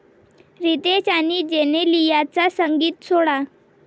रितेश आणि जेनेलियाचा संगीत सोहळा